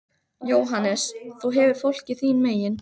JÓHANNES: Þú hefur fólkið þín megin.